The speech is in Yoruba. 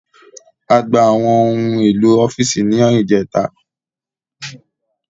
A gba àwọn ohun èlò ọ́fíìsì ní ìjẹ́ta